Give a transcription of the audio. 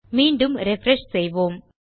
மீண்டும் ரிஃப்ரெஷ் செய்வோம்